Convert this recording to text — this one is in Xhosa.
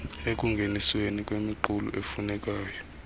ekungenisweni kwemiqulu efunekayo